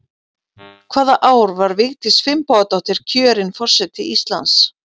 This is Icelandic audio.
Hvaða ár var Vigdís Finnbogadóttir kjörin forseti Íslands?